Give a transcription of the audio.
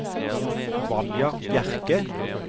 Vanja Bjerke